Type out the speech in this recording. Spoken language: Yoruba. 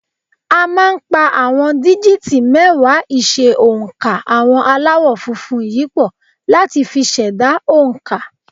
A máa ń pa àwọn díjìtì mẹ́wàá ìṣe oǹkà àwọn Aláwọ̀ funfun yìí pọ̀ láti fi ṣẹ̀dá oǹkà